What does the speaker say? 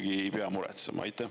Või ma ei pea muretsema?